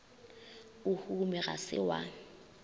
o hume ga se wa